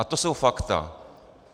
A to jsou fakta.